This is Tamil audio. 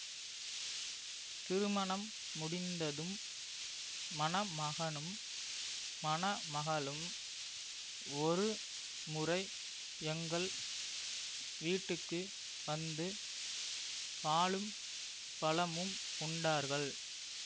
திருமணம் முடிந்ததும் மணமகனும் மணமகளும் ஒரு முறை எங்கள் வீட்டுக்கு வந்து பாலும் பழமும் உண்டார்கள்